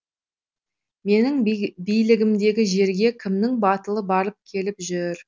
менің билігімдегі жерге кімнің батылы барып келіп жүр